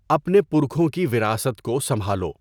اپنے پرکھوں کی وراثت کـو سنبـھالـو.